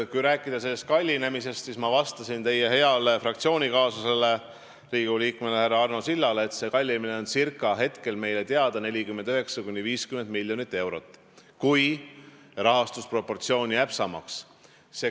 Kui rääkida kallinemisest, siis ma vastasin teie heale fraktsioonikaaslasele, Riigikogu liikmele härra Arno Sillale, et kallinemine on hetkel meile teadaolevalt 49–50 miljonit eurot, kui rahastusproportsioon jääb samaks.